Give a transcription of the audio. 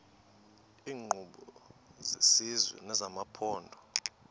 iinkqubo zesizwe nezamaphondo